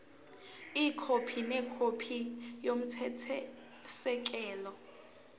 ikhophi nekhophi yomthethosisekelo